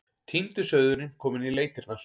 Týndi sauðurinn kominn í leitirnar.